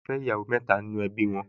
Wọ́n máa ń fẹ́ ìyàwó mẹ́ta nínú ẹbí wọn